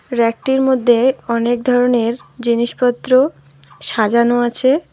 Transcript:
রেকটির মধ্যে অনেক ধরনের জিনিসপত্র সাজানো আছে।